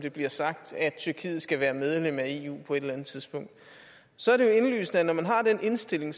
det bliver sagt at tyrkiet skal være medlem af eu på et eller andet tidspunkt så er det jo indlysende at når man har den indstilling